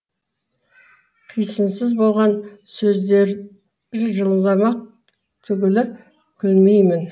қисынсыз болған сөздері жыламақ түгілі күлмеймін